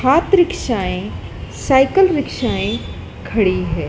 हाथ रिक्शाएँ साइकिल रिक्शाएँ खड़ी है।